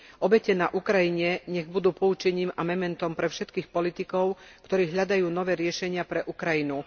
Obete na Ukrajine nech budú poučením a mementom pre všetkých politikov, ktorí hľadajú nové riešenia pre Ukrajinu.